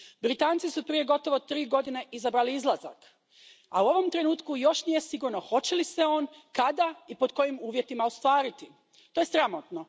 Britanci su prije gotovo tri godine izabrali izlazak, a u ovom trenutku još nije sigurno hoće li se on, kada, i pod kojim uvjetima ostvariti. To je sramotno.